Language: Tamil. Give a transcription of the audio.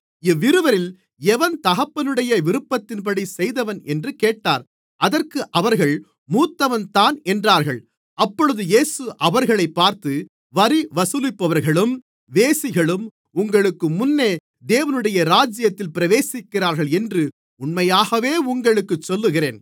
இவ்விருவரில் எவன் தகப்பனுடைய விருப்பத்தின்படி செய்தவன் என்று கேட்டார் அதற்கு அவர்கள் மூத்தவன்தான் என்றார்கள் அப்பொழுது இயேசு அவர்களைப் பார்த்து வரி வசூலிப்பவர்களும் வேசிகளும் உங்களுக்கு முன்னே தேவனுடைய ராஜ்யத்தில் பிரவேசிக்கிறார்கள் என்று உண்மையாகவே உங்களுக்குச் சொல்லுகிறேன்